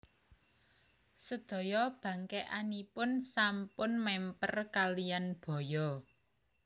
Sedaya bangkèkanipun sampun mèmper kaliyan baya